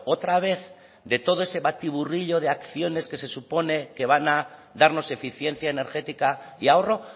otra vez de todo ese batiburrillo de acciones que se supone que van a darnos eficiencia energética y ahorro